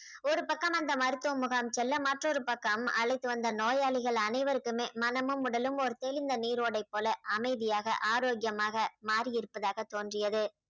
ஒரு பக்கம் அந்த மருத்துவ முகாம் செல்ல மற்றொரு பக்கம் அழைத்து வந்த நோயாளிகள் அனைவருக்குமே மனமும் உடலும் ஒரு தெளிந்த நீரோடை போல அமைதியாக ஆரோக்கியமாக மாறி இருப்பதாக தோன்றியது